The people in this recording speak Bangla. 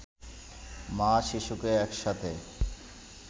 মা-শিশুকে একসাথে